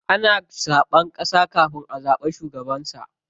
Ana zaɓen ƙasa kafin a zaɓi shugabansa.